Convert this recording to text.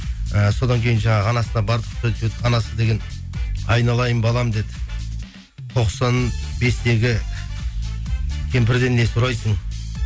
і содан кейін жаңағы анасына барып анасы деген айналайын балам деді тоқсан бестегі кемпірден не сұрайсың